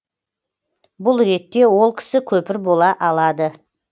бұл ретте ол кісі көпір бола алады